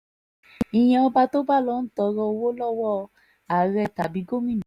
ìyẹn ọba tó bá ń lọo tọrọ owó lọ́wọ́ àárẹ̀ tàbí gómìnà